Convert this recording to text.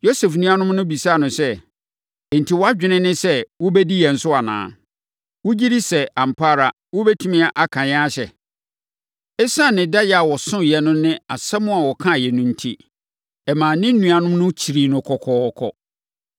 Yosef nuanom no bisaa no sɛ, “Enti, wʼadwene ne sɛ wobɛdi yɛn so anaa? Wogye di sɛ, ampa ara, wobɛtumi aka yɛn ahyɛ?” Esiane ne daeɛ a ɔsoeɛ no ne asɛm a ɔkaeɛ no enti, ɛmaa ne nuanom no kyirii no kɔkɔɔkɔ.